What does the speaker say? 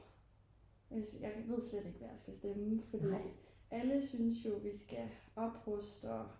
og jeg ved slet ikke hvad jeg skal stemme for alle synes jo vi skal opruste og